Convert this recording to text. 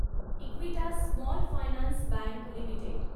Equitas small finance bank limited